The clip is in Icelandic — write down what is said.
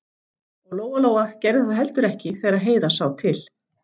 Og Lóa-Lóa gerði það heldur ekki þegar Heiða sá til.